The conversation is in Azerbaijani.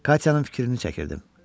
Katyanın fikrini çəkirdim.